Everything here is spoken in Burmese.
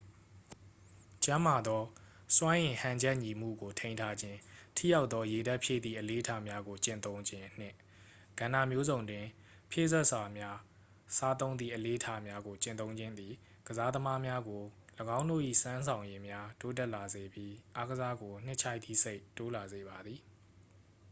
ကျန်းမာသော စွမ်းအင်ဟန်ချက်ညီမှုကို ထိန်းထားခြင်း ထိရောက်သော ရေဓာတ်ဖြည့်သည့် အလေ့အထများကို ကျင့်သုံးခြင်းနှင့် ကဏ္ဍမျိုးစုံတွင် ဖြည့်စွက်စာများ စားသုံးသည့် အလေ့အထများကို ကျင့်သုံးခြင်းသည် ကစားသမားများကို ၎င်းတို့၏စွမ်းဆောင်ရည်များ တိုးတက်လာစေပြီး အားကစားကို နှစ်ခြိုက်သည့်စိတ် တိုးလာစေပါသည်